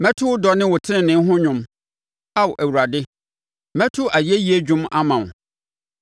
Mɛto wo dɔ ne wo tenenee ho dwom; Ao Awurade, mɛto ayɛyie dwom ama wo.